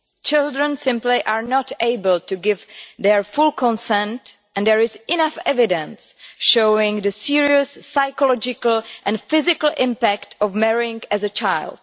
Children are simply not able to give their full consent, and there is enough evidence showing the serious psychological and physical impact of marrying as a child.